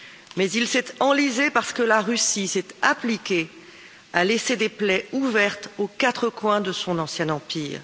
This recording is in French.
Mais il s'est enlisé, parce que la Russie s'est appliquée à laisser des plaies ouvertes aux quatre coins de son ancien empire.